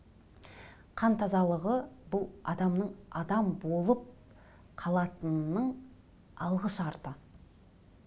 қан тазалығы бұл адамның адам болып қалатынының алғы шарты